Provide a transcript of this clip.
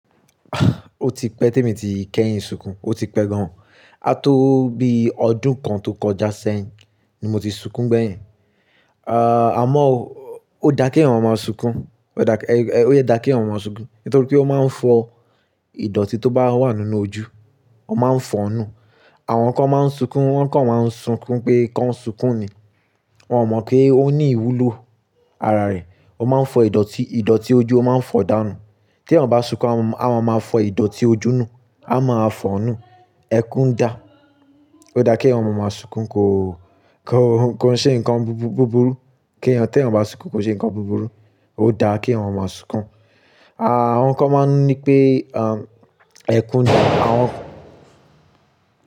O ti pẹ́ tí èmi ti kẹ́yìn sunkùn, o ti pẹ́ gan an. Á tó bí ọdún kan tó kọjá sẹ́yìn ni mo ti sunkún gbẹ̀yìn. Àmọ́ ó dá kí èeyan máa sunkùn, ó dá kí èwọ̀n máa sunkùn nítorí pé ó máa ń fọ ìdọ̀tí tó bá wà nínú ojú, ó máa ń fọ ọnú. Àwọn kan máa ń sunkùn, wọ́n kan máa ń sunkùn pé ká sunkùn ni. Wọn ò mọ̀ pé ó ní ìwúlò ara rẹ̀. Ó máa ń fọ ìdọ̀tí, ìdọ̀tí ojú ó máa ń fọ dànù. Tí ẹ̀eyan bá sunkùn, a máa máa fọ ìdọ̀tí ojú nù, a máa fọ ọnú. Ẹkùn dà. Ó dá kí èwọ̀n máa sunkùn, kó ṣe ǹkan búburú, kí ẹ̀wọ̀n tí ẹ̀wọ̀n bá sunkùn kó ṣe ǹkan búburú. Ó dá kí èeyan máa sunkùn. Àwọn kan máa ń nipé ẹ̀kùn dà. Àwọn.